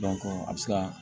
a bɛ se ka